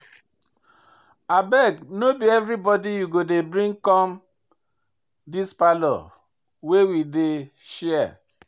Abeg no be everybodi you go bring come dis parlour wey we dey share.